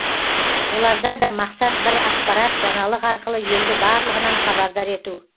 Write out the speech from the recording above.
оларда да мақсат бір ақпарат жаңалық арқылы елді барлығынан хабардар ету